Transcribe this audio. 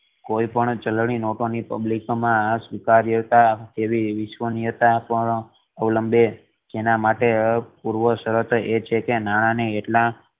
કોઈ પણ ચલણી નોટો ની પબ્લિક મા સ્વીકાર્યતા એવી વિશ્વનીયતા પણ ઓલંબે એના માટે પૂર્વ શરત એ છે કે નાના ને એટલા